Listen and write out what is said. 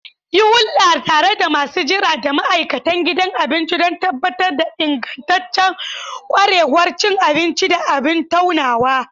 Yi hulɗa tare da masu jira da ma'aikatan gidan abinci don tabbatar da ingantaccen ƙwarewar cin abinci da abin tunawa.